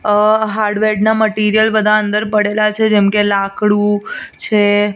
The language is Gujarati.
અ હાર્ડવેર ના મટીરીયલ બધા અંદર પડેલા છે જેમકે લાકડુ છે.